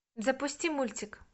запусти мультик